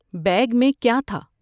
Bag میں کیا تھا؟